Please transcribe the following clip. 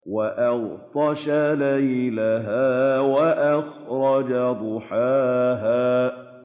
وَأَغْطَشَ لَيْلَهَا وَأَخْرَجَ ضُحَاهَا